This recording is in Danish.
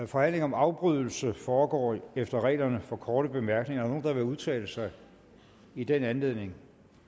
forhandlinger om afbrydelse foregår efter reglerne for korte bemærkninger er der nogen der vil udtale sig i den anledning